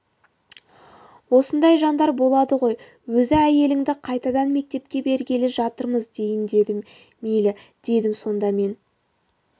осындай жандар болады ғой өзі әйеліңді қайтадан мектепке бергелі жатырмыз дейін деді мейлі дедім сонда мен